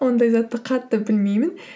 ондай затты қатты білмеймін